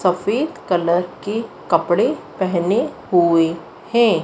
सफेद कलर की कपड़े पेहने हुएं हैं।